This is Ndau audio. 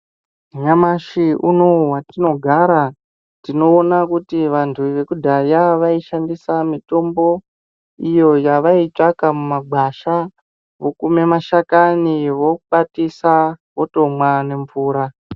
Nyamashi unowu watinogara tinoona kuti vanhu vekudhaya vaishandisa mitombo iyo yavaitsvaka mumagwasha vokume mashakani vokwatisa votomwa nemvura.